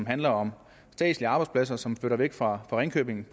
handler om statslige arbejdspladser som flytter væk fra ringkøbing